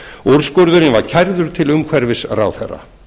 úrskurðurinn var kærður til umhverfisráðherra